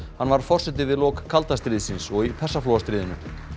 hann var forseti við lok kalda stríðsins og í Persaflóastríðinu